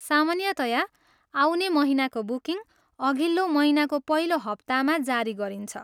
सामान्यतया आउने महिनाको बुकिङ अघिल्लो महिनाको पहिलो हप्तामा जारी गरिन्छ।